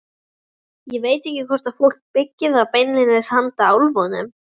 Ég veit ekki hvort fólk byggir þau beinlínis handa álfunum.